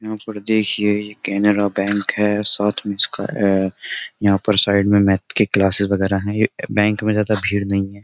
यहां पर देखिए ये कैनरा बैंक है साथ में इसका यहां पर साइड में मैथ की क्लासेस वगैरह हैं ये बैंक में ज्यादा भीड़ नहीं है।